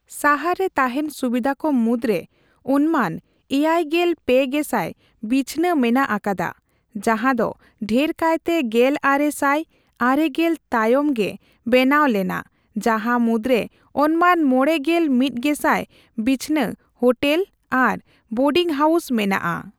ᱥᱟᱦᱟᱨᱨᱮ ᱛᱟᱦᱮᱸᱱ ᱥᱩᱵᱤᱫᱷᱟ ᱠᱚ ᱢᱩᱫᱨᱮ ᱚᱱᱢᱟᱱ ᱮᱭᱟᱭ ᱜᱮᱞ ᱯᱮ ᱜᱮᱥᱟᱭ ᱵᱤᱪᱷᱱᱟᱹ ᱢᱮᱱᱟᱜ ᱟᱠᱟᱫᱟ, ᱡᱟᱸᱦᱟ ᱫᱚ ᱰᱷᱮᱨ ᱠᱟᱭᱛᱮ ᱜᱮᱞ ᱟᱨᱮ ᱥᱟᱭ ᱟᱨᱮ ᱜᱮᱞ ᱛᱟᱭᱚᱢᱜᱮ ᱵᱮᱱᱟᱣ ᱞᱮᱱᱟ, ᱡᱟᱸᱦᱟ ᱢᱩᱫᱨᱮ ᱚᱱᱢᱟᱱ ᱢᱚᱲᱮᱜᱮᱞ ᱢᱤᱛ ᱜᱮᱥᱟᱭ ᱵᱤᱪᱷᱱᱟᱹ ᱦᱳᱴᱮᱞ ᱟᱨ ᱵᱳᱨᱰᱤᱝ ᱦᱟᱣᱩᱥ ᱢᱮᱱᱟᱜᱼᱟ ᱾